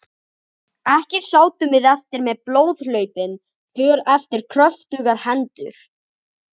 Ekki sátum við eftir með blóðhlaupin för eftir kröftugar hendur.